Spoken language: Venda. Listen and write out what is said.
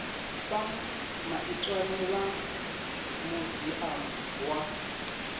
sam maitswane vha muziamu wa